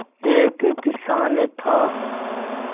एक किसान था